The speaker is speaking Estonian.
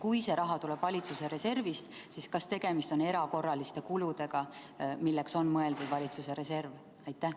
Kui see raha tuleb valitsuse reservist, siis kas tegemist on erakorraliste kuludega, milleks on valitsuse reserv mõeldud?